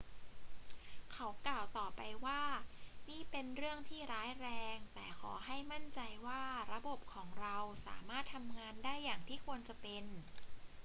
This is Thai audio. เขากล่าวต่อไปว่า นี่เป็นเรื่องที่ร้ายแรง แต่ขอให้มั่นใจว่าระบบของเราสามารถทำงานได้อย่างที่ควรจะเป็น